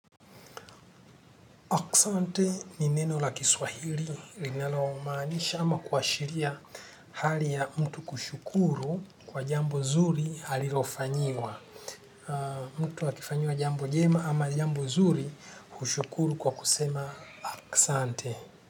Oksante ni neno la kiswahili linalo maanisha ama kuashiria hali ya mtu kushukuru kwa jambo zuri halilofanyiwa. Mtu akifanyiwa jambo jema ama jambo zuri kushukuru kwa kusema kusante.